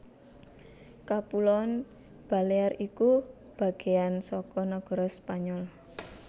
Kapuloan Balear iku bagéan saka negara Spanyol